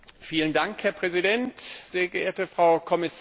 Herr Präsident, sehr geehrte Frau Kommissarin!